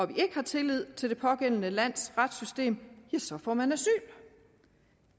vi ikke har tillid til det pågældende lands retssystem får man asyl